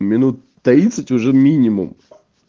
минут тридцать уже минимум